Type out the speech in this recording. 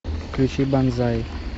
включи банзай